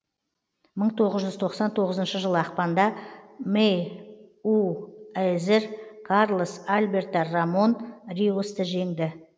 мыңы тоғыз жүз тоқсан тоғызыншы жылы ақпанда мэйуэзер карлос альберто рамон риосты жеңді